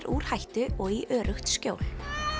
úr hættu og í öruggt skjól